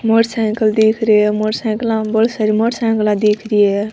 Motorcycle दिख रही है मोटरसाइकिला बोली सारी मोटरसाइकिला दिख रही है।